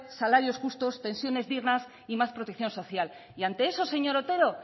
salarios justos pensiones dignas y más protección social y ante eso señor otero